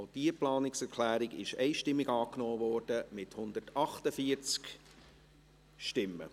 Auch diese Planungserklärung wurde einstimmig angenommen, mit 148 Stimmen.